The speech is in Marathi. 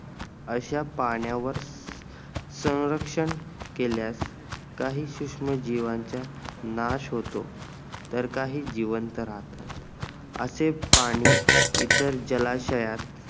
अश्या पाण्यावर सौंरक्षण केल्यास काही सूक्ष्म जीवांच्या नाश होतो तर काही जिवंत राहतात असे पाणी इतर जलाशयात